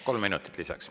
Kolm minutit lisaks.